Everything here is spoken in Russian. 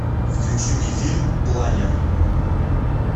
включи мне фильм планер